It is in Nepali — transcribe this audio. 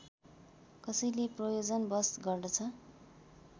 कसैले प्रयोजनवश गर्दछ